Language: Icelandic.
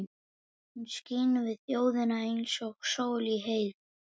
Hún skein við þjóðinni eins og sól í heiði.